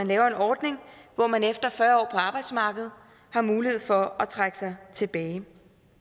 laver en ordning hvor man efter fyrre år på arbejdsmarkedet har mulighed for at trække sig tilbage